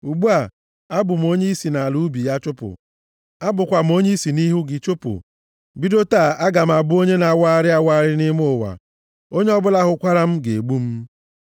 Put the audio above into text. Ugbu a, abụ m onye i si nʼala ubi ya chụpụ. Abụkwa m onye i si nʼihu gị chụpụ. Bido taa aga m abụ onye na-awagharị awagharị nʼime ụwa. Onye ọbụla hụkwara m ga-egbu m.”